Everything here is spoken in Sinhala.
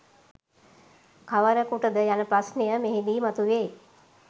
කවරකුටද යන ප්‍රශ්නය මෙහිදී මතුවේ.